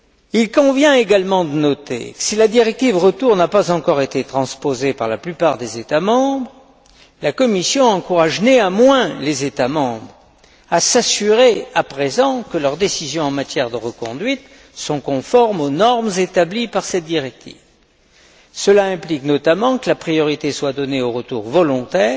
Il convient également de noter que, si la directive retour n'a pas encore été transposée par la plupart des États membres, la Commission encourage néanmoins les États membres à s'assurer à présent que leurs décisions en matière de reconduite sont conformes aux normes établies par cette directive. Cela implique notamment que la priorité soit donnée aux retours volontaires,